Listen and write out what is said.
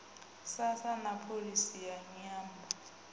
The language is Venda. sasa na pholisi ya nyambo